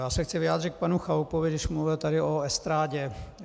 Já se chci vyjádřit k panu Chalupovi, když mluvil tady o estrádě.